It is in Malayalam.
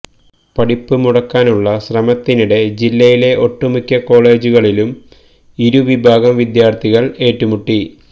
പഠിപ്പ് മുടക്കാനുള്ള ശ്രമത്തിനിടെ ജില്ലയിലെ ഒട്ടുമിക്ക കോളജുകളിലും ഇരു വിഭാഗം വിദ്യാര്ഥികള് ഏറ്റുമുട്ടി